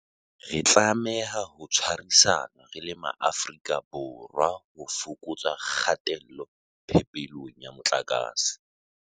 Re tlameha ho tshwarisana re le Maafrika Borwa ho fokotsa kgatello phepelong ya motlakase.